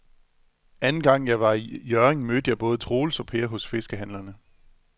Anden gang jeg var i Hjørring, mødte jeg både Troels og Per hos fiskehandlerne.